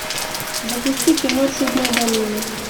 запусти кино чудная долина